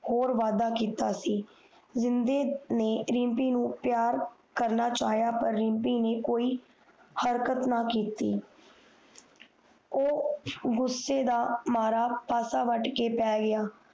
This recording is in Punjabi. ਹੋਰ ਵਾਦਾ ਕੀਤਾ ਸੀ ਜਿੰਨਦੇ ਨੇ ਰਿਮਪੀ ਨੂੰ ਪਿਆਰ ਕਰਨਾ ਚਾਹਯਾ ਪਰ ਰਿਮਪੀ ਨ ਕੋਈ ਹਰਕਤ ਨਾ ਕੀਤੀ ਓ ਗੁੱਸੇ ਦਾ ਮਾਰਾ ਪਾਸਾ ਵਾੜ ਕੇ ਪੈ ਗਿਆ